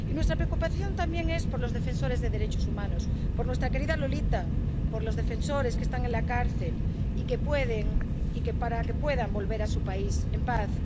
Y nuestra preocupación también es por los defensores de los derechos humanos por nuestra querida Lolita, por los defensores que están en la cárcel, para que puedan volver a su país en paz.